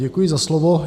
Děkuji za slovo.